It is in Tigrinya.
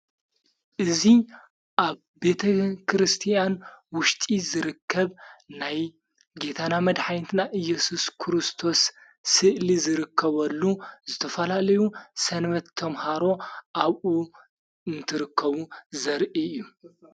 እዙይ ኣብ ቤተ ክርስቲያን ውሽጢ ዝርከብ ናይ ጌታና መድኃኒትና ኢየሱስ ክርስቶስ ስእሊ ዝርከበሉ ዝተፈላለዩ ሠንመት ቶምሃሮ ኣብኡ እንትርከቡ ዘርኢ እዩ::